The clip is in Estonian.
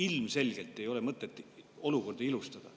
Ilmselgelt ei ole mõtet olukorda ilustada.